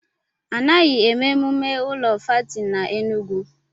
Anaghị èmè emumé ụlọ fáátị n'Enugwu